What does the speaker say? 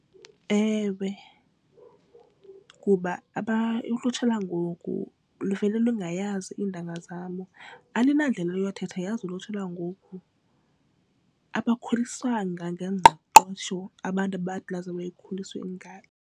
Ewe, kuba ulutsha lwangoku luvele lungayazi iintanga zabo alunandlela yothetha yazi ulutsha lwangoku. Abakhuliswanga ngengqesho abantu abathi lizawube ikhuliswe ngathi.